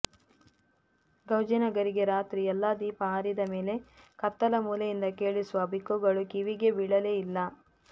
ಗೌಜಿನ ಗೌರಿಗೆ ರಾತ್ರಿ ಎಲ್ಲ ದೀಪ ಆರಿದ ಮೇಲೆ ಕತ್ತಲ ಮೂಲೆಯಿಂದ ಕೇಳಿಸುವ ಬಿಕ್ಕುಗಳು ಕಿವಿಗೆ ಬೀಳಲೇ ಇಲ್ಲ